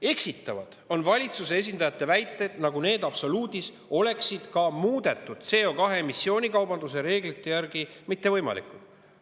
Eksitavad on valitsuse esindajate väited, nagu need oleksid absoluudis ka muudetud CO2 emissiooni kaubanduse reeglite järgi mittevõimalikud.